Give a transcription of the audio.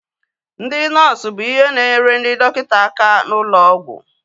Ndị nọọsu bụ ihe na-enyere ndị dọkịta aka n'ụlọ ọgwụ